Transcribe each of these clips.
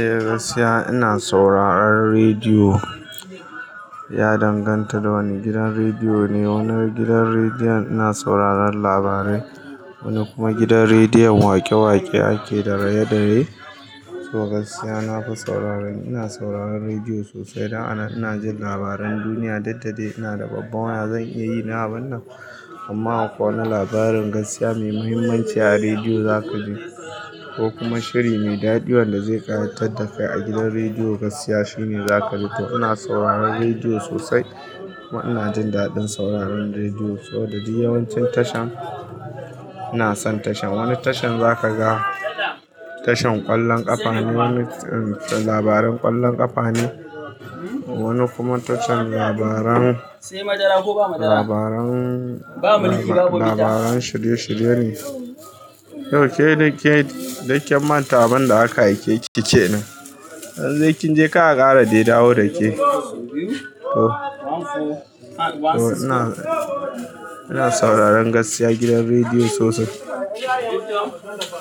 Eh gaskiya ina sauraron rediyo, ya danganta da wane gidan rediyo ne. Wani gidan rediyon ina sauraron labarai, wani kuma gidan rediyon waƙe-waƙe ake da raye-raye. To gaskiya nafi saurara, ina sauraron rediyo sosai. Da ana ina jin labaran duniya duk da dai ina da babban waya zan iya yi na abun nan. Amma akwai wani labarin gaskiya mai muhimmanci a rediyo zaka ji ko kuma shiri mai dadi wanda zai ƙayatar da kai a gidan rediyo gaskiya shine zaka ji to ina sauraron rediyo sosai kuma ina jin daɗin sauraron rediyo saboda duk yawancin tashan ina son tashan. Wani tashar zaka ga tashan ƙwallon ƙafa ne, wani labaran ƙwallon ƙafa ne, wani kuma tashar labaran, labaran, labaran shirye-shirye ne. To ke dai ke duk kin manta abunda aka aike ki kenan? Idan dai kinje kar aƙara dai dawo dake. To, to ina, ina sauraron gaskiya gidan rediyo sosai.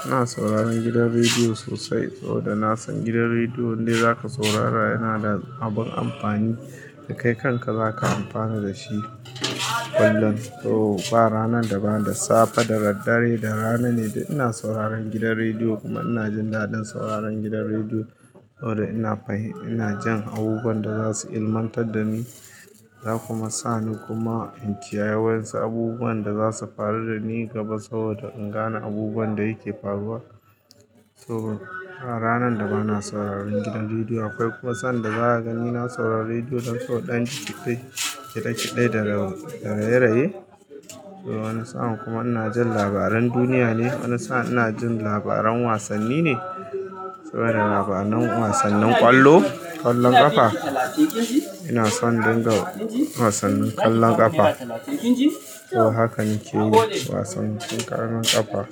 Ina sauraron gidan rediyo sosai saboda na san gidan rediyon indai zaka saurara yana da abun amfani da kai kanka zaka amfana da shi kullum. To ba ranar da ba, da safe, da daddare, da rana ne duk ina sauraron gidan rediyo kuma ina jin daɗin sauraron gidan rediyo saboda ina fahim, ina jin abubuwan da za su ilmantar da ni za kuma sa ni kuma in kiyayi wasu abubuwan da za su faru da ni gaba saboda in gane abubuwan da yake faruwa. To ba ranar da ba na sauraron gidan rediyo. Akwai kuma sanda zaka gani ina sauraron rediyo dan so ɗan kitede kitede da raye-raye. To wani sa'a kuma ina jin labaran duniya ne, wani sa'a ina jin labaran wasanni ne saboda labaran wasannin ƙwallo, ƙwallon ƙafa. Ina son dinga wasannin ƙwallon ƙafa. To hakan ke yi wasannin ƙwallon ƙafa.